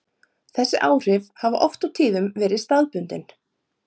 Þessi áhrif hafa oft og tíðum verið staðbundin.